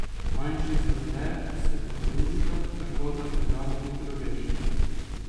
Manjši zaplet, se pa trudita, tako da težavo hitro rešimo.